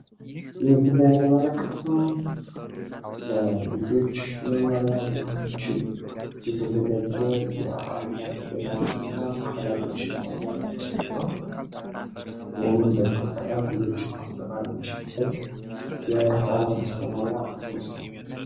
በምስሉ ላይ የምንመለከተው ለልጆች መማርያ ሊሆን የሚችል የተዘጋጄ የአማርኛ ፊደላትንና ቃላቶችን የያዘ ምስል ነው። ይህንን በመጠቀም ልጆችን ማስተማር የምንችልበት የህፃናት ማስተማርያ ይመስላል።